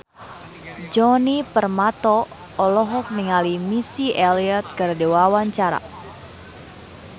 Djoni Permato olohok ningali Missy Elliott keur diwawancara